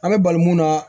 An bɛ bali mun na